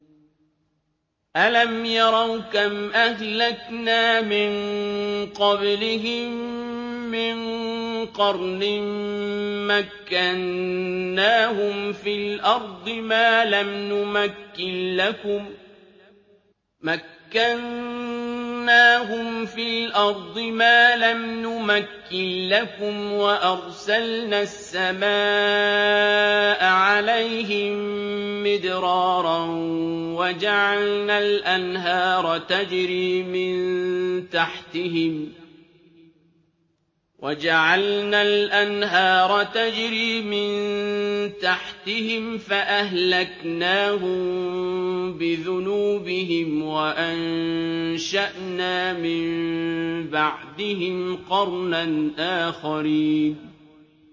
أَلَمْ يَرَوْا كَمْ أَهْلَكْنَا مِن قَبْلِهِم مِّن قَرْنٍ مَّكَّنَّاهُمْ فِي الْأَرْضِ مَا لَمْ نُمَكِّن لَّكُمْ وَأَرْسَلْنَا السَّمَاءَ عَلَيْهِم مِّدْرَارًا وَجَعَلْنَا الْأَنْهَارَ تَجْرِي مِن تَحْتِهِمْ فَأَهْلَكْنَاهُم بِذُنُوبِهِمْ وَأَنشَأْنَا مِن بَعْدِهِمْ قَرْنًا آخَرِينَ